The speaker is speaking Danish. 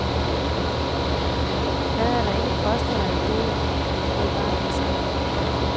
Hvad er der ikke fostret af ideer ved bardisken.